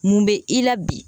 Mun be i la bi?